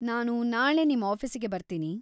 ನಾನು ನಾಳೆ ನಿಮ್‌ ಆಫೀಸಿಗೆ ಬರ್ತೀನಿ.